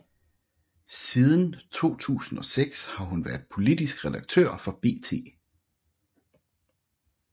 Siden 2006 har hun været politisk redaktør for BT